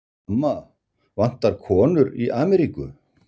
Amma, vantar konur í Ameríku?